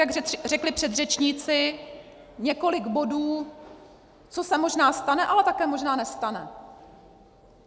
Jak řekli předřečníci, několik bodů, co se možná stane, ale také možná nestane.